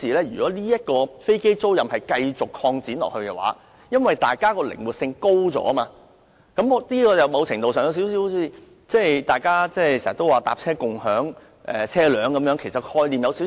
如果飛機租賃繼續擴展下去，靈活性增加，某程度上有點類近大家經常說的"乘車共享車輛"概念。